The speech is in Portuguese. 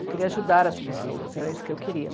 Eu queria ajudar as pessoas, era isso que eu queria.